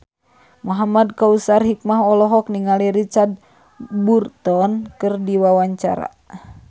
Muhamad Kautsar Hikmat olohok ningali Richard Burton keur diwawancara